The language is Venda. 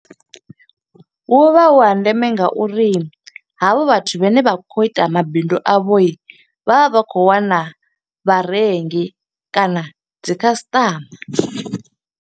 Hu vha hu ha ndeme nga uri ha vha vhathu vhane vha khou ita mabindu a vho, vha vha vha khou wana vharengi kana dzi customer.